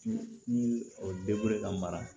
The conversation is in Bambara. Ni o ka mara